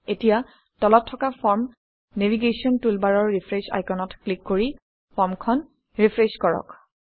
এতিয়া তলত থকা ফৰ্ম নেভিগেশ্যন টুলবাৰৰ ৰিফ্ৰেছ আইকনত ক্লিক কৰি ফৰ্মখন ৰিফ্ৰেছ কৰক